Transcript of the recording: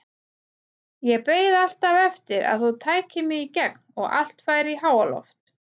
Ég beið alltaf eftir að þú tækir mig í gegn og allt færi í háaloft.